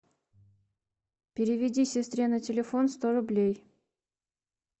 переведи сестре на телефон сто рублей